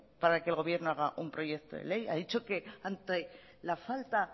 para que el gobierno haga un proyecto de ley ha dicho que ante la falta